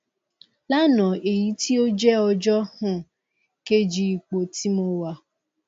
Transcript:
lánàá èyí tí ó jẹ́ ọjọ́ um kejì ipò tí mo wà